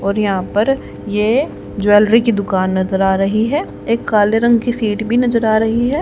और यहां पर ये ज्वेलरी की दुकान नजर आ रही है एक काले रंग की सीट भी नजर आ रही है।